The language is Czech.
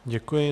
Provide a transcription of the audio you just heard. Děkuji.